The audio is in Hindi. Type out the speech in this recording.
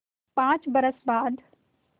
पाँच बरस बाद